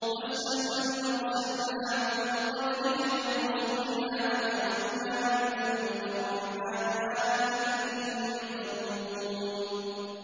وَاسْأَلْ مَنْ أَرْسَلْنَا مِن قَبْلِكَ مِن رُّسُلِنَا أَجَعَلْنَا مِن دُونِ الرَّحْمَٰنِ آلِهَةً يُعْبَدُونَ